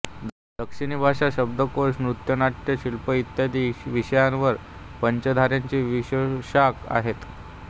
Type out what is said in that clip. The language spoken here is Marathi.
दक्षिणी भाषा शब्दकोश नृत्यनाट्य शिल्प इत्यादी विषयांवर पंचाधारेचे विशेषांक आहेत